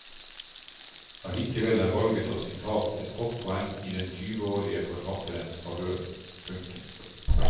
Allikevel er valget av sitatet et godt poeng i den tyveårige forfatterens favør. punktum